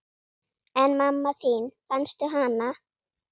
En mamma þín, fannstu hana?